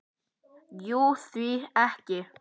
Jú, því ekki?